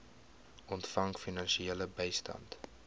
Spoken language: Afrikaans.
ontvang finansiële bystand